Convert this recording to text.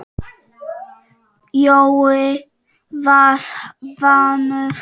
Jói var vanur að vera.